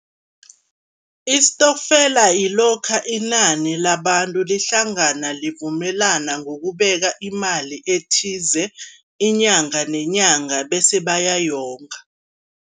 Isitokfela yilokha inani labantu lihlangana, livumelana ngokubeka imali ethize inyanga nenyanga bese bayayonga.